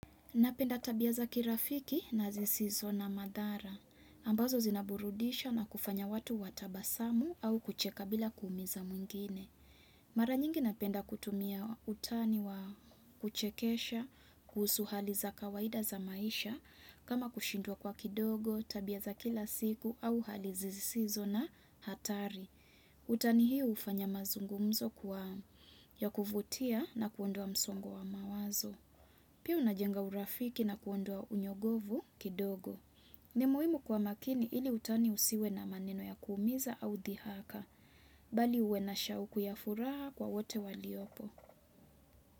Napenda tabia za kirafiki na zisizo na madhara. Ambazo zinaburudisha na kufanya watu watabasamu au kucheka bila kuumiza mwingine. Mara nyingi napenda kutumia utani wa kuchekesha, kuhusu hali za kawaida za maisha, kama kushindwa kwa kidogo, tabia za kila siku au hali zisizo na hatari. Utani hi hufanya mazungumzo kuwa ya kuvutia na kuondoa msongo wa mawazo. Pia una jenga urafiki na kuondoa unyogovu kidogo. Ni muhimu kwa makini ili utani usiwe na maneno ya kuumiza au dhihaka. Bali uwe na shauku ya furaha kwa wote waliopo.